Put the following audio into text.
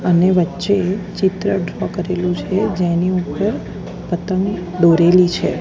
અને વચે એક ચિત્ર ડ્રો કરેલુ છે જેની ઉપર પતંગ દોરેલી છે.